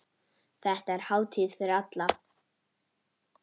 Þetta er hátíð fyrir alla.